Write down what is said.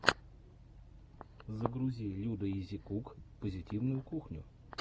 загрузи людаизикук позитивную кухню